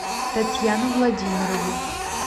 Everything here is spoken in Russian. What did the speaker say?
татьяну владимирову